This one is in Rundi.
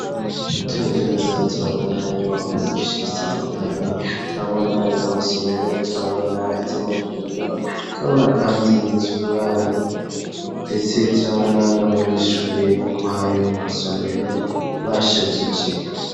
Turavye neza turabona inyubako Nyinshi zitandukanye ,turabona iz'amasomero, turabona iz'amavuriro ,turabona kandi niz'uburaro ndetse turabona n'abanyeshure bokwayo masomero bashajije.